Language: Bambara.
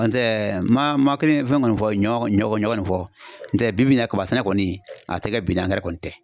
N'o tɛ ma kelen fɛn kɔni fɔ ɲɔ ɲɔ kɔni fɔ n'o tɛ bibi na kaba sɛnɛ kɔni a tɛ kɛ bi n'angɛrɛ kɔni tɛ .